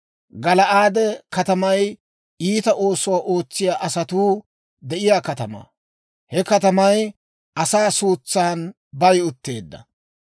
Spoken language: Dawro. Gala'aade katamay iita oosuwaa ootsiyaa asatuu de'iyaa katamaa; he katamay asaa suutsan bayi utteedda.